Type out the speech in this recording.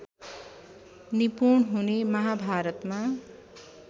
निपुण हुने महाभारतमा